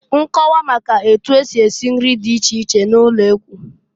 Nkọwa maka otu esi esi nri di iche iche n'ụlekwu.